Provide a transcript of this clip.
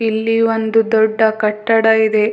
ಇಲ್ಲಿ ಒಂದು ದೊಡ್ಡ ಕಟ್ಟಡ ಇದೆ.